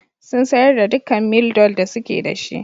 Sun sayar da dukkan Mildol da suke da shi.